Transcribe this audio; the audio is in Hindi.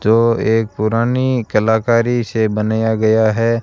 जो एक पुरानी कलाकारी से बनेया गया है।